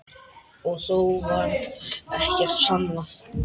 Og þó varð ekkert sannað.